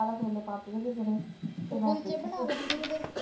ਤੇ ਕੁਲਚੇ ਬਣਾ ਲੈਂਦੀ ਉਹਦੇ।